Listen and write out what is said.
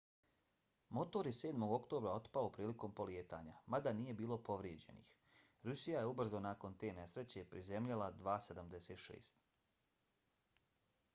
motor je 7. oktobra otpao prilikom polijetanja mada nije bilo povrijeđenih. rusija je ubrzo nakon te nesreće prizemljila il-76